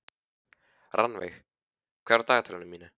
Rannveig, hvað er á dagatalinu í dag?